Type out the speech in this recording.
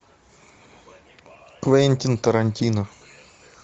квентин тарантино